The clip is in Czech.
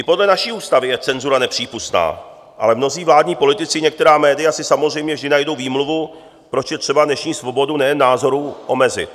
I podle naší ústavy je cenzura nepřípustná, ale mnozí vládní politici i některá média si samozřejmě vždy najdou výmluvu, proč je třeba dnešní svobodu nejen názoru omezit.